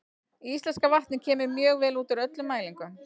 Íslenska vatnið kemur mjög vel út úr öllum mælingum.